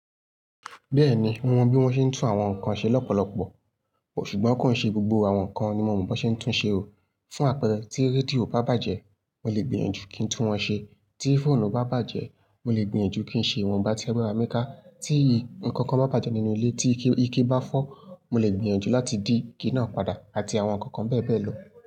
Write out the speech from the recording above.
Bẹ́ẹ̀ni mo mọ bí wọ́n ṣe ń tún àwọn nǹkan ṣe lọ́pọ̀lọpọ̀, ṣùgbọ́n kò ṣe gbogbo àwọn nǹkan ni mo mọ bí wọ́n ṣe ń tún ṣe o. Fún àpẹẹrẹ, tí rédíò bá bàjẹ́, mo lè gbìyànjú kí n tún wọn ṣe. Tí fóònù bá bàjẹ́, mo lè gbìyànjú kí n ṣe ìwọ̀n bá tẹ́ ẹ́ bá ra mi kà. Tí nǹkan kan bá bàjẹ́ nínú ilé, tí ike bá fọ́, mo lè gbìyànjú láti dí ike náà padà àti àwọn nǹkan kan bẹ́ẹ̀ bẹ́ẹ̀ lọ.